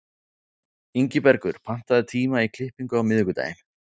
Ingibergur, pantaðu tíma í klippingu á miðvikudaginn.